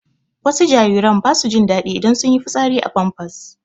Wasu jariran ba su jin daɗi idan sun yi fitsari a famfas